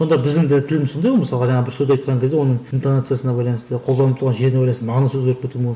онда біздің де тіліміз сондай ғой мысалға жаңағы бір сөз айтқан кезде оның интонациясына байланысты қолданып тұрған жеріне байланысты маңызы өзгеріп